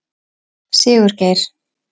Sigurgeir